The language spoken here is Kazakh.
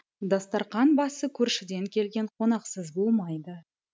дастарқан басы көршіден келген қонақсыз болмайды